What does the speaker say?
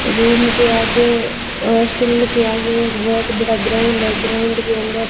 room के आगे hostel के आगे एक बहुत बड़ा ग्राउंड है ग्राउंड के अंदर--